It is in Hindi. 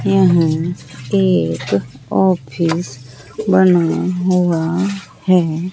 यहां एक ऑफिस बना हुआ हैं।